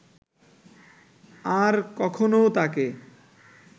আর কখনও তাকে